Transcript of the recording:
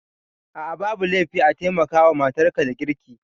A'a babu laifi a taimaka wa matar ka da girki